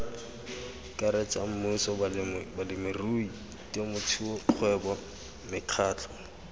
karetsa mmuso balemirui temothuokgwebo mekgatlho